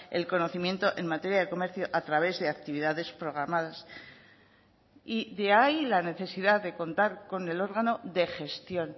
el conocimiento en materia de comercio a través de actividades programadas y de ahí la necesidad de contar con el órgano de gestión